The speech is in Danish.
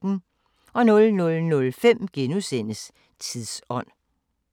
00:05: Tidsånd *